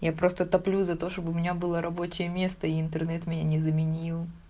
я просто топлю за то чтобы у меня была рабочее место интернет меня не заменил